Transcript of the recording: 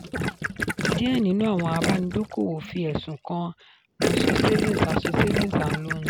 díẹ̀ nínú àwọn àbánidókòwò fi ẹ̀sùn kan asọ savings asọ savings and loans.